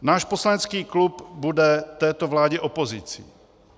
Náš poslanecký klub bude této vládě opozicí.